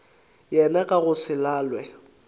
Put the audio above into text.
yena ka go se lalwe